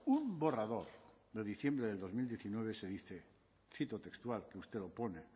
un borrador de diciembre de dos mil diecinueve se dice cito textual que usted lo pone